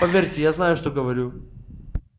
поверьте я знаю что говорю